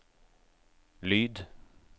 lyd